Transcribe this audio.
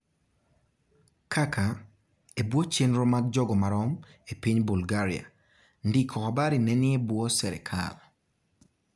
kaka, ebuo chenro mag jogomarom e piny Bulgaria, ndiko habari nenie buo serikal.